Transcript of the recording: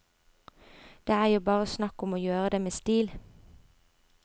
Det er jo bare snakk om å gjøre det med stil.